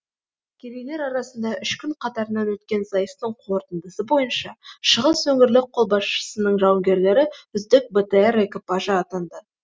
әскерилер арасында үш күн қатарынан өткен сайыстың қорытындысы бойынша шығыс өңірлік қолбасшылығының жауынгерлері үздік бтр экипажы атанды